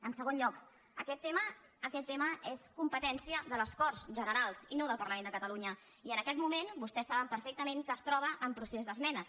en segon lloc aquest tema és competència de les corts generals i no del parlament de catalunya i en aquest moment vostès saben perfectament que es troba en procés d’esmenes